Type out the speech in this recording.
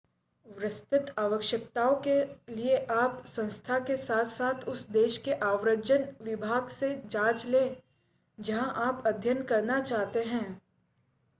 विस्तृत आवश्यकताओं के लिए आप संस्था के साथ-साथ उस देश के आव्रजन विभाग से जांच लें जहां आप अध्ययन करना चाहते हैं